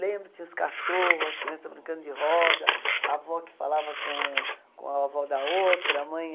Lembro, tinha os cachorros, as crianças brincando de roda, a avó que falava com a avó da outra, a mãe